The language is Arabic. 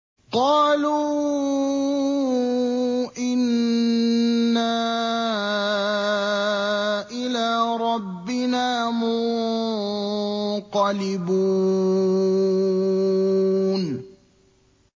قَالُوا إِنَّا إِلَىٰ رَبِّنَا مُنقَلِبُونَ